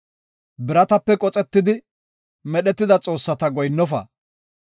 “Biratape qoxetidi, medhetida xoossata goyinnofite.